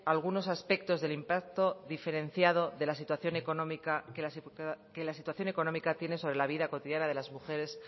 algunos aspectos del impacto diferenciado que la situación económica tiene sobre la vida cotidiana de las mujeres